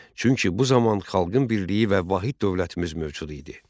Çünki bu zaman xalqın birliyi və vahid dövlətimiz mövcud idi.